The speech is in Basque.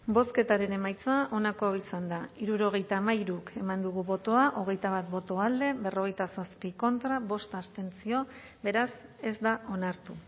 bozketaren emaitza onako izan da hirurogeita hamairu eman dugu bozka hogeita bat boto alde berrogeita zazpi contra bost abstentzio beraz ez da onartu